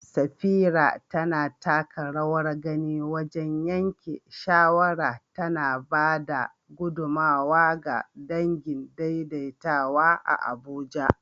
Safira tana taka rawar gani wajen yanke shawara, tana ba da gudummawa ga dangin daidaitawa a Abuja